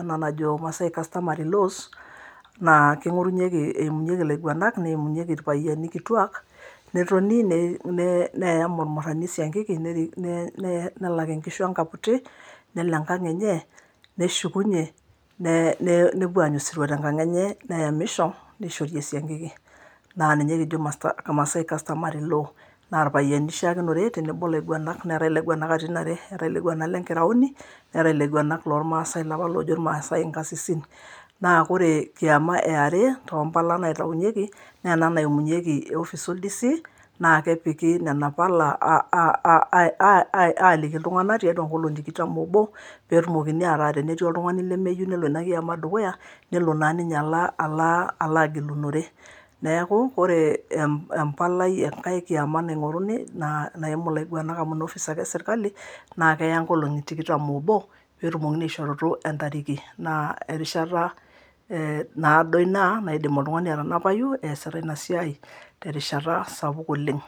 ena najo maasai customary laws naa king'orunyeki emunyeki ilaiguanak neimunyeki irpayiani kituak netoni nei nee neeyam ormurani esiankiki nerik nee nee nelak inkishu enkaputi nelo enkang enye neshukunye nee nee nepuo aanya osirua tenkang enye neyamisho neishori esiankiki naa ninye kijo masta maasai customary law naa irpayiani eishaakinore tenebo laiguanak, neetae ilaiguanak katitin are, eetae ilaguanak le nkiraoni, neetae ilaiguanak lormaasae ilapa loojo irmaasae inkasisin. naa kore kiyama e are tompala naitaunyeki naa ena naimunyeki office oldisi naa kepiki nena pala aa aa aai aaliki iltung'anak tiatua nkolong'i tikitam oobo peetumokini ataa tenetii oltung'ani lemeyieu nelo ina kiyama dukuya nelo naa ala ala alaa gilunore neeku ore empalai enkae kiyama naing'oruni naa naimu ilaiguanak amu ina office ake e serkali naa keya nkolong'i tikitam oobo peetumokini aishorutu entariki, naa erishata eeh naado ina naidim oltung'ani atanapayu eesita ina siai terishata sapuk oleng.